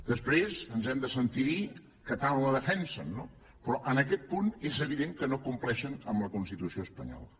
després ens hem de sentir dir que tant la defensen no però en aquest punt és evident que no compleixen la constitució espanyola